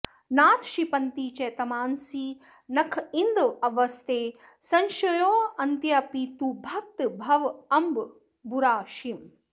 नाथ क्षिपन्ति च तमांसि नखेन्दवस्ते संशोषयन्त्यपि तु भक्तभवाम्म्बुराशिम्